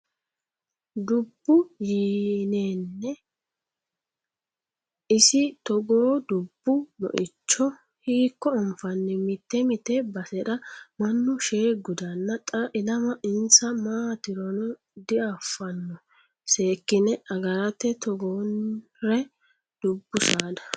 Dubbu yee'ne isi togo dubbu moicho hiikko anfanni mite mite basera mannu shee gudana xa ilama insa maatirono diafano seekkine agarate togoore dubbu saada.